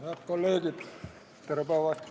Head kolleegid, tere päevast!